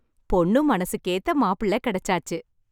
பொண்ணு மனசுக்கேத்த மாப்பிள்ள கிடைச்சாச்சு.